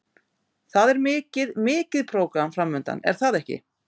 Það er mikið, mikið prógram framundan er það ekki?